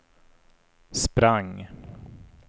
sprang